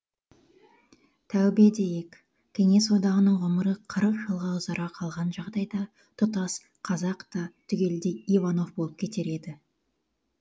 тәубе дейік кеңес одағының ғұмыры қырық жылға ұзара қалған жағдайда тұтас қазақ та түгелдей иванов болып кетер еді